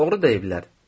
Doğru deyiblər.